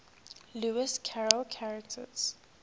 lewis carroll characters